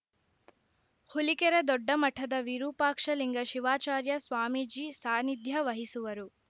ಹುಲಿಕೆರೆ ದೊಡ್ಡಮಠದ ವಿರೂಪಾಕ್ಷಲಿಂಗ ಶಿವಾಚಾರ್ಯ ಸ್ವಾಮೀಜಿ ಸಾನ್ನಿಧ್ಯ ವಹಿಸುವರು